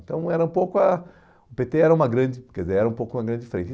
Então, era um pouco a... O pê tê era uma grande... Quer dizer, era um pouco uma grande frente.